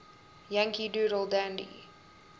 yankee doodle dandy